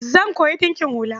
Zan koyi ɗinkin hula.